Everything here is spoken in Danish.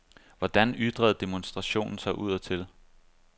Hvordan ytrede demonstrationen sig udadtil?